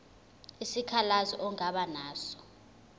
isikhalazo ongaba naso